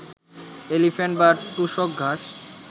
elephant বা টুসক ঘাস